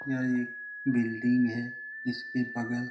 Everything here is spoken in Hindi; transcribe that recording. यह एक बिल्डिंग है जिसके बगल --